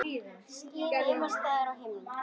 Skýin ema staðar á himnum.